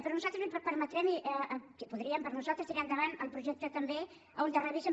però nosaltres li permetrem i podrien per nosaltres tirar endavant el projecte també en què es revisen